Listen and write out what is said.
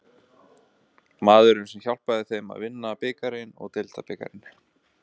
Maðurinn sem hjálpaði þeim að vinna bikarinn og deildabikarinn?